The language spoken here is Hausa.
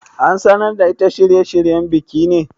An sanar da ita shirye shiryen bikin?